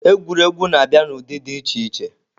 Egwuregwu na-abịa n'ụdị dị iche iche.